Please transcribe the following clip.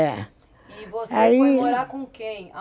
É, aí. E você foi morar com quem?